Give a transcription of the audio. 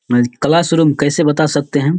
Class room कैसे बता सकते है।